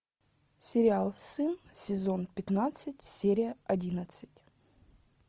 сериал сын сезон пятнадцать серия одиннадцать